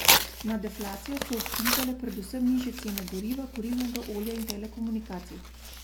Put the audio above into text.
Na deflacijo so vplivale predvsem nižje cene goriva, kurilnega olja in telekomunikacij.